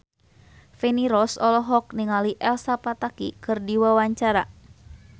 Feni Rose olohok ningali Elsa Pataky keur diwawancara